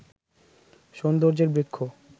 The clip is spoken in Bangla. সৌন্দর্যের বৃক্ষ